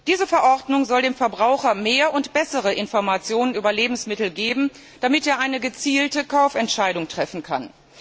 Diese Verordnung soll dem Verbraucher mehr und bessere Informationen über Lebensmittel geben, damit er eine gezielte Kaufentscheidung treffen kann.